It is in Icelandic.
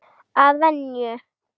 Að venju.